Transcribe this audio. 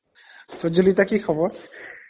প্ৰজ্বলিতা কি খবৰ